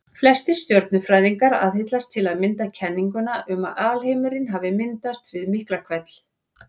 Flestir stjörnufræðingar aðhyllast til að mynda kenninguna um að alheimurinn hafi myndast við Miklahvell.